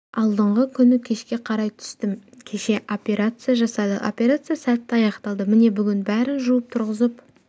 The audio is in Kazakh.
алдыңғы күні кешке қарай түстім кеше операция жасады операция сәтті аяқталды міне бүгін бәрін жуып тұрғызып